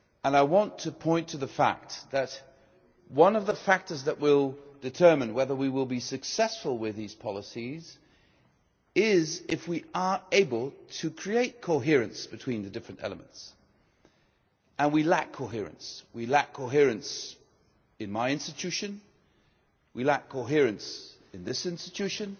I want to point to the fact that one of the factors that will determine whether we will be successful with these policies is whether we are able to create coherence between the different elements and we lack coherence. We lack coherence in my institution, we lack coherence in this institution,